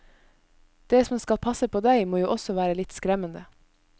Det som skal passe på deg, må jo også være litt skremmende.